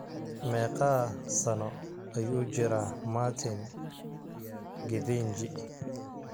Meeqa sano ayuu jiraa Martin Githinji?